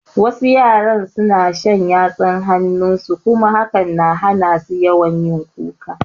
Wasu yaran suna shan yatsun hanun su kuma hakan na hana su yawan kuka